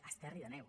a esterri d’àneu